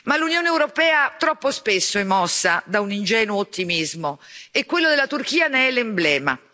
L'Unione europea troppo spesso è mossa da un ingenuo ottimismo e quello della Turchia ne è l'emblema.